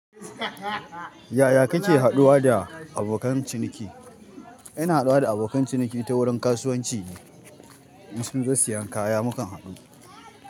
Yaya kake haɗuwa da abokan ciniki? Ina haɗuwa da abokan ciniki ta wurin kasuwanci. In sun zo siyan kaya mu kan haɗu.